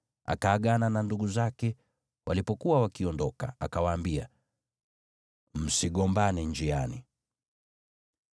Akaagana na ndugu zake walipokuwa wakiondoka, akawaambia, “Msigombane njiani!”